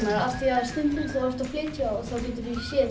af því að stundum ert þú að flytja og þá geturðu séð